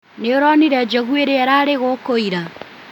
Nĩwonire njogu irĩa irarĩ gũkũ ira?